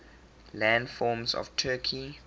landforms of turkey